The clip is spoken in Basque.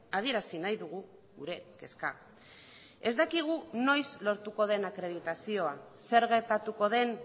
adierazi nahi dugu gure kezka ez dakigu noiz lortuko den akreditazioa zer gertatuko den